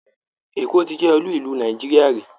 Èkó ti jẹ́ olú ìlú Nàìjíríà rí